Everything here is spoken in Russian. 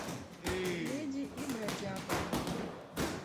леди и бродяга